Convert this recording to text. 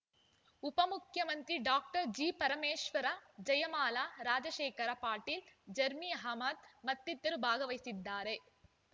ಉಪ ಮುಖ್ಯಮಂತ್ರಿ doctor G Parameshwara Jayamala Rajashekhar Patil Zameer Ahmed ಮತ್ತಿತರರು ಭಾಗವಹಿಸಿದ್ದಾರೆ